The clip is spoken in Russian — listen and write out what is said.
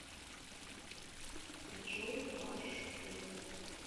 джой ваш сын